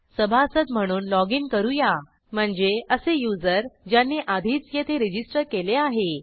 सभासद म्हणून लॉगिन करू या म्हणजे असे युजर ज्यांनी आधीच येथे रजिस्टर केले आहे